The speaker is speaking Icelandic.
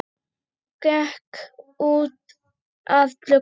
Gekk út að glugga.